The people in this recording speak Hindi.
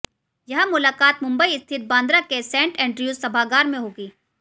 यह मुलाकात मुंबई स्थित बांद्रा के सेंट एंड्रयूज सभागार में होगी